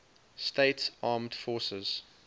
states armed forces